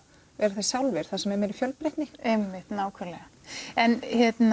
vera þeir sjálfir þar sem það er meiri fjölbreytni einmitt nákvæmlega en